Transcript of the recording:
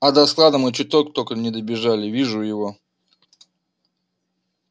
а до склада мы чуток только не добежали вижу его